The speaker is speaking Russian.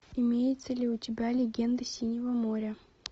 имеется ли у тебя легенды синего моря